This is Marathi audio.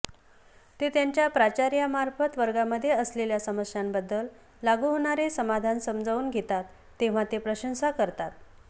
ते त्यांच्या प्राचार्यांमार्फत वर्गामध्ये असलेल्या समस्यांबद्दल लागू होणारे समाधान समजावून घेतात तेव्हा ते प्रशंसा करतात